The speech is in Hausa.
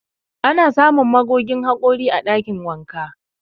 Ana samun magogin haƙori a ɗakin wanka.